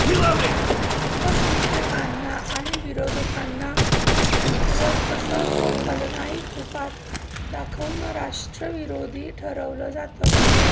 अल्पसंख्यांकांना आणि विरोधकांना कमकुवत तसंच खलनायकी रुपात दाखवून राष्ट्रविरोधी ठरवलं जातं